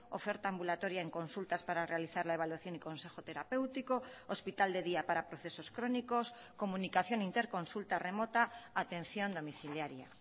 oferta ambulatoria en consultas para realizar la evaluación y consejo terapéutico hospital de día para procesos crónicos comunicación interconsulta remota atención domiciliaria